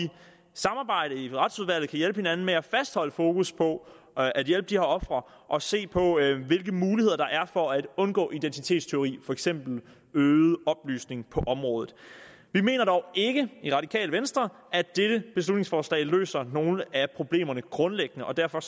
samarbejde i retsudvalget hinanden med at fastholde fokus på at at hjælpe de her ofre og se på hvilke muligheder der er for at undgå identitetstyveri for eksempel øget oplysning på området vi mener dog ikke i radikale venstre at dette beslutningsforslag løser nogen af problemerne grundlæggende og derfor